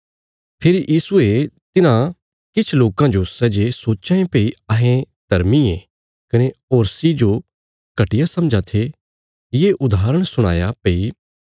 फेरी यीशुये तिन्हां किछ लोकां जो सै जे सोच्चां ये भई अहें धर्मी ये कने होरसी जो घटिया समझां थे ये उदाहरण सुणाया